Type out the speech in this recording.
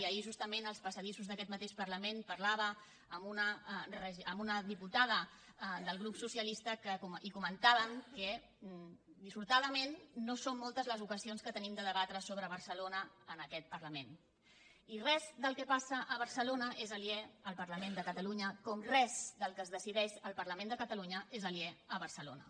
ahir justament en els passadissos d’aquest mateix parlament parlava amb una diputada del grup socialista i comentàvem que dissortadament no són moltes les ocasions que tenim de debatre sobre barcelona en aquest parlament i res del que passa a barcelona és aliè al parlament de catalunya com res del que es decideix en el parlament de catalunya és aliè a barcelona